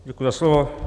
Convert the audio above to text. Děkuji za slovo.